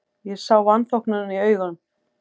Ég sá vanþóknunina í augum